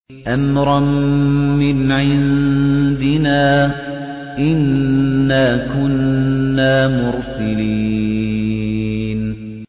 أَمْرًا مِّنْ عِندِنَا ۚ إِنَّا كُنَّا مُرْسِلِينَ